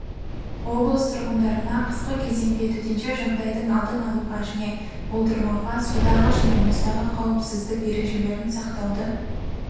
облыс тұрғындарына қысқы кезеңде төтенше жағдайдың алдын-алуға және болдырмауға судағы және мұздағы қауіпсіздік ережелерін сақтауды